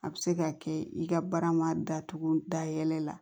A bɛ se ka kɛ i ka baara ma datugu dayɛlɛ la